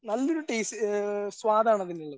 നല്ലൊരു ടെസ്റ്റ് ഏഹ് സ്വാദാണതിനുള്ളത്.